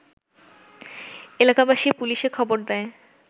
এলাকাবাসী পুলিশে খবর দেয়